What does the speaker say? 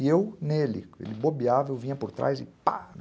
E eu nele, ele bobeava, eu vinha por trás e pá, né?